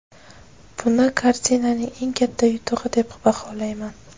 Buni kartinaning eng katta yutug‘i deb baholayman.